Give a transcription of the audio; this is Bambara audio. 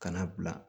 Kana bila